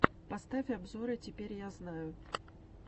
поставь обзоры теперь я знаю